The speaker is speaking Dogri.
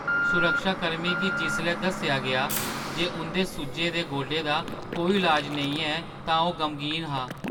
सुरक्षाकर्मी गी जिसलै दस्सेआ गेआ जे उंʼदे सुज्जे दे गोडे दा कोई इलाज नेईं ऐ तां ओह् गमगीन हा।